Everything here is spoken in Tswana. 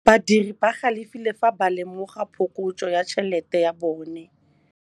Badiri ba galefile fa ba lemoga phokotsô ya tšhelête ya bone.